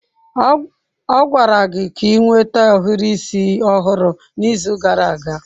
Ọ gwara gị ka ị nweta ohiri isi ọhụrụ n'izu gara aga!